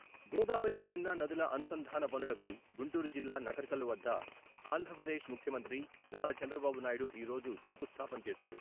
గోదావరి పెన్నా నదుల అనుసంధాన పనులకు గుంటూరు జిల్లా నకరికల్లు వద్ద ఆంధ్రప్రదేశ్ ముఖ్యమంత్రి నారా చంద్రబాబునాయడు ఈరోజు శంకుస్థాపన చేశారు.